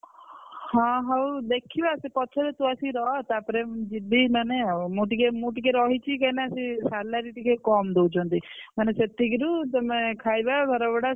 ହଁ ହଉ ଦେଖିଆ ସେ ପଛରେ ତୁ ଆସି ରହ ତାପରେ ମୁଁ ଯିବି ମାନେ ଆଉ ମୁଁ ଟିକେ ମୁଁ ଟିକେ ରହିଛି କାଇଁନା ସିଏ salary ଟିକେ କମ ଦଉଛନ୍ତି ମାନେ ସେତିକିରୁ ତମେ ଖାଇବା ଘର ଭଡା।